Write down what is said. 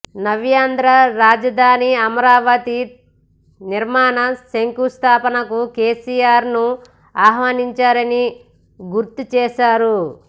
నవ్యాంధ్ర రాజధాని అమరావతి నిర్మాణ శంకుస్థాపనకు కేసీఆర్ను ఆహ్వానించారని గుర్తు చేశారు